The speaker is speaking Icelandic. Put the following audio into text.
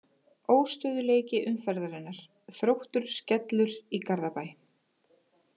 Óstöðugleiki umferðarinnar: Þróttur Skellur í Garðabæ.